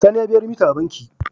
Sani ya biya remita a banki